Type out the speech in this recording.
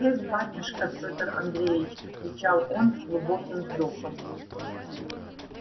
эх батюшка петр андреич отвечал он с глубоким вздохом